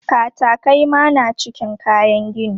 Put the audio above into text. Katakai ma na cikin kayan gini.